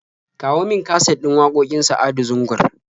Kawo min kaset din waƙoƙin Sa'adu Zungur.